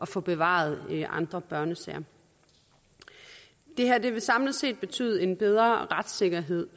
få bevaret andre børnesager det her vil samlet set betyde en bedre retssikkerhed